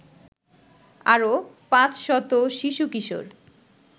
আরো ৫০০ শিশু-কিশোর